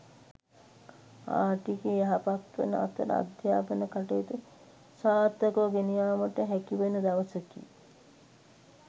ආර්ථිකය යහපත් වන අතර අධ්‍යාපන කටයුතු සාර්ථකව ගෙනයාමට හැකිවන දවසකි.